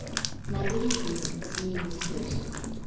набери фильм змеиный источник